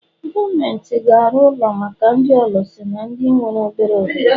Gọọmenti ga-arụ ụlọ maka ndị ọlụsị na ndị nwere obere ohere.